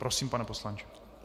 Prosím, pane poslanče.